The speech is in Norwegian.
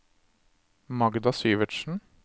Magda Syvertsen